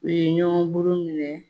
U ye ɲɔgɔn buru minɛ.